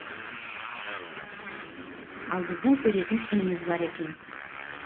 ал біздің көретін күніміз бар екен